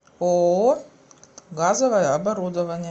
ооо газовое оборудование